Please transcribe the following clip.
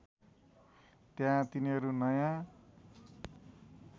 त्यहाँ तिनीहरू नयाँ